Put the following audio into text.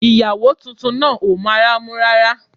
Ìyàwó tuntun náà ò mọ ara mú rárá